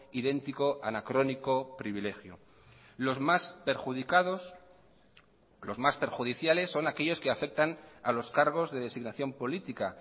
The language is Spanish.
idéntico anacrónico privilegio los más perjudicados los más perjudiciales son aquellos que afectan a los cargos de designación política